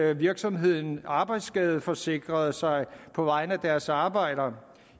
at virksomhederne arbejdsskadeforsikrede sig på vegne af deres arbejdere